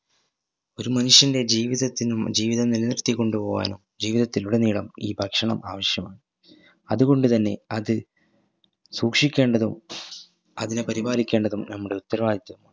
ഒരു മനുഷ്യൻറെ ജീവിതത്തിനോ ജീവിതം നിലനിർത്തി കൊണ്ടു പോവാനോ ജീവിതത്തിൽ ഉടനീളം ഈ ഭക്ഷണം ആവിശ്യമാണ് അതുകൊണ്ട് തന്നെ അത് സൂക്ഷിക്കേണ്ടതും അതിനെ പരിപാലിക്കേണ്ടതും നമ്മുടെ ഉത്തരവാദിത്ത